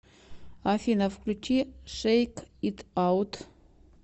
афина включи шейк ит аут